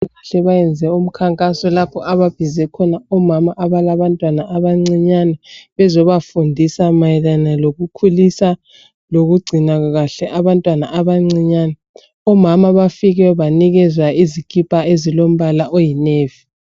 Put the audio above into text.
Abezempilakahle bayenze umkhankaso lapho ababize omama abalabantwana abancinyane bezobafundisa mayelana lokukhulisa lokugcina kahle abantwana abancinyane omama bafike banikezwa izikipa ezilombala oyi navy.